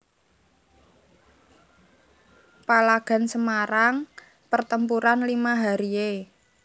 Palagan Semarang Pertempuran Lima Hari e